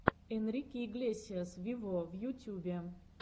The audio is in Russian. энрике иглесиас вево в ютюбе